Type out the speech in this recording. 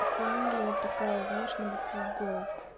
фамилия такая знаешь на букву в